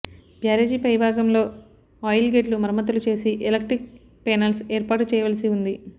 బ్యారేజీ పై భాగంలో ఆయిల్ గేట్లు మరమ్మతులు చేసి ఎలక్ట్రికల్ పేనల్స్ ఏర్పాటుచేయవలసి ఉంది